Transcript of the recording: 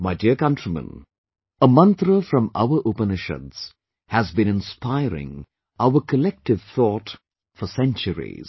My dear countrymen, a mantra from our Upanishads has been inspiring our collective thought for centuries